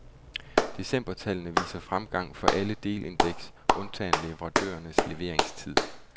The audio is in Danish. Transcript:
Decembertallene viser fremgang for alle delindeks, undtagen leverandørernes leveringstid.